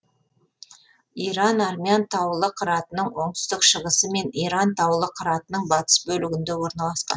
иран армян таулы қыратының оңтүстік шығысы мен иран таулы қыратының батыс бөлігінде орналасқан